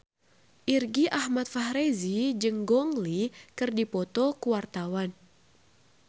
Irgi Ahmad Fahrezi jeung Gong Li keur dipoto ku wartawan